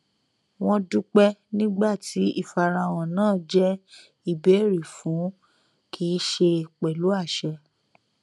wọn dúpẹ nígbà tí ìfarahàn náà jẹ ìbéèrè fún kì í ṣe pẹlú àṣẹ